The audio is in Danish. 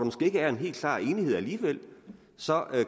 måske ikke er en helt klar enighed alligevel så